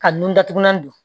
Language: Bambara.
Ka nun datugulan don